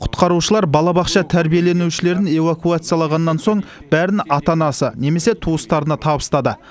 құтқарушылар балабақша тәрбиеленушілерін эвакуациялағаннан соң бәрін ата анасы немесе туыстарына табыстады